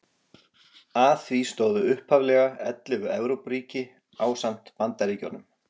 Að því stóðu upphaflega ellefu Evrópuríki ásamt Bandaríkjunum.